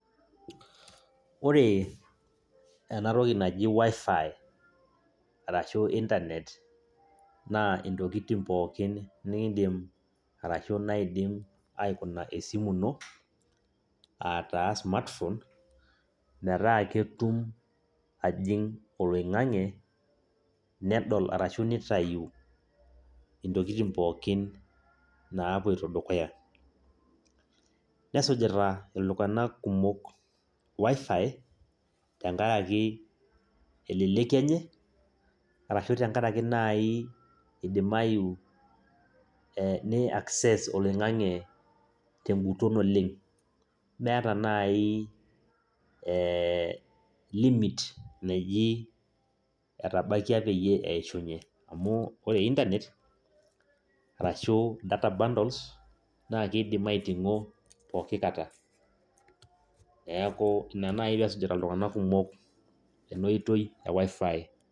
Ore ena toki naji WIFI arashu internet naa intokitin pookin niindima ashu naidim aikuna esimu ino aa taa smartphone metaa ketum ajing' oloing'ang'e nedol arashu nitayu intokitin pookin naapoito dukuya nesujita iltung'anak kumok WIFI tenkaraki eleleki enye arashu tenkaraki naai idimayu ee ni access oloing'ang'e tenkuton oleng' meeta naai ee limit naji etbaikia peyie eishunyie amu ore internet arashu data bundles naa kiidim aiting'o pooki kata, neeku ina naai pee esujita iltung'anak kumok ina oitoi e WIFI.